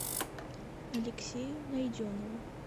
алексею найденову